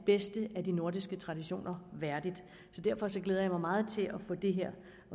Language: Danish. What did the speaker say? bedste af de nordiske traditioner værdigt derfor glæder jeg mig meget til at